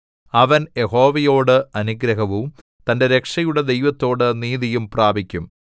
അവൻ യഹോവയോട് അനുഗ്രഹവും തന്റെ രക്ഷയുടെ ദൈവത്തോട് നീതിയും പ്രാപിക്കും